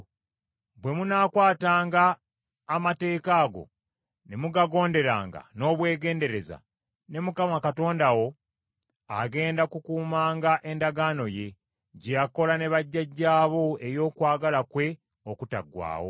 Bwe munaakwatanga amateeka ago, ne mugagonderanga n’obwegendereza, ne Mukama Katonda wo agenda kukuumanga endagaano ye, gye yakola ne bajjajjaabo ey’okwagala kwe okutaggwaawo.